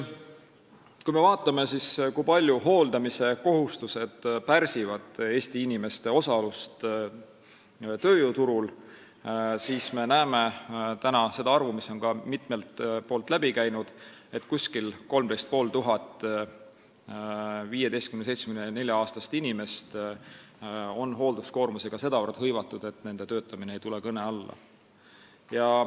Kui me vaatame, kui palju hooldamiskohustus pärsib Eesti inimeste osalust tööjõuturul, siis me näeme seda, mis on ka mitmelt poolt läbi käinud, et umbes 13 500 15–74-aastast inimest on hoolduskohustusega sedavõrd hõivatud, et nende töötamine ei tule kõne alla.